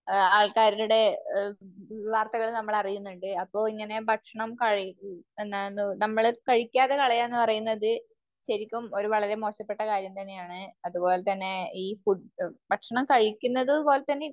ആൾക്കാരുടെ വാർത്തകൾ നമ്മൾ അറിയുന്നുണ്ട്. അപ്പോ ഇങ്ങനെ ഭക്ഷണം നമ്മള് കഴിക്കാതെ കളയുക എന്ന് പറയുന്നത് ശരിക്കും ഒരു വളരെ മോശപ്പെട്ട കാര്യം തന്നെയാണ്. അത്പോലെ തന്നെ ഈ ഫുഡ് ഭക്ഷണം കഴിക്കുന്നത് പോലെ തന്നെ